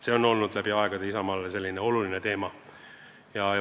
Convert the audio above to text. See on läbi aegade Isamaale oluline teema olnud.